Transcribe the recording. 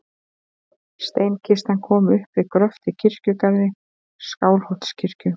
Steinkistan kom upp við gröft í kirkjugarði Skálholtskirkju.